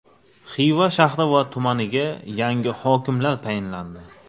Xiva shahri va tumaniga yangi hokimlar tayinlandi.